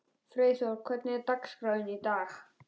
Freyþór, hvernig er dagskráin í dag?